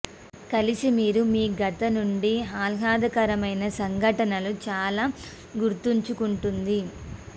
కలిసి మీరు మీ గత నుండి ఆహ్లాదకరమైన సంఘటనలు చాలా గుర్తుంచుకుంటుంది